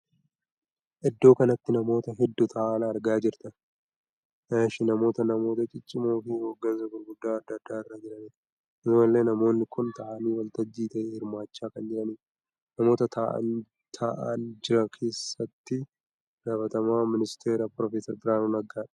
Iddoo kanatti namoota hedduu taa'an argaa jirta. namoonni namoota ciccimoo fi hoggansa gurguddaa addaa addaa irra jiranidha. akkasuma illee namoonni kun taa'anii waltajjii tahe hirmaachaa kan jiranidha. namoota taa'an jira keessa itti gaafatamaa ministeera Piroofeser Biraanuu Naggaadha.